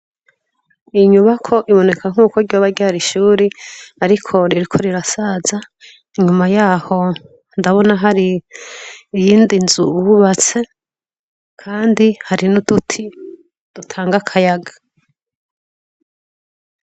Iyi nyubako iboneka nkuko ryoba ryari ishuri ariko ririko rirasaza inyuma yaho ndabona hari iyindi nzu bubatse kandi hari n'uduti dutanga akayaga.